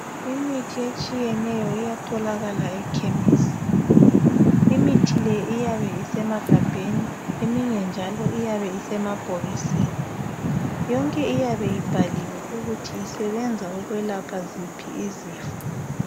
Imithi etshiyeneyo iyatholakala ekhemesi. Imithi leyi iyabe isemagabheni eminye njalo iyabe isemabhokisini yonke iyabe ibhaliwe ukuthi isebenza ukwelapha ziphi izifo.